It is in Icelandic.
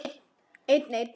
En alltaf hélt hann áfram.